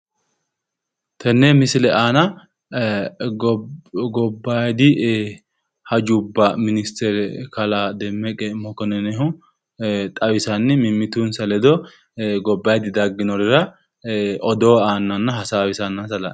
Tenne misile aana gobbaadi hajubba ministere kalaa demmeqe mokkonninihu xawisanni mimmitinsa ledo gobbaadi dagginorira odoo aannanna hasaawisanna la'neemmo